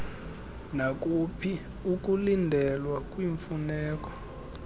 nakuphi ukulindelwa kwiimfuneko